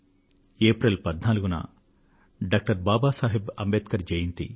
April 14న doctor Babasaheb Ambedkar జయంతి